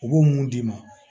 U b'o mun d'i ma